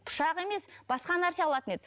пышақ емес басқа нәрсе алатын еді